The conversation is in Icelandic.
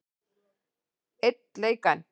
Einn leik enn?